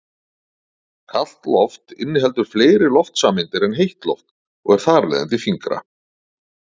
Kalt loft inniheldur fleiri loftsameindir en heitt loft og er þar af leiðandi þyngra.